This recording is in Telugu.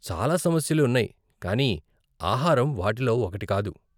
చాలా సమస్యలు ఉన్నాయి కానీ ఆహారం వాటిలో ఒకటి కాదు!